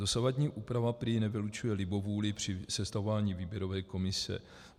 Dosavadní úprava prý nevylučuje libovůli při sestavování výběrové komise.